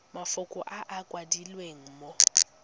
mafoko a a kwadilweng mo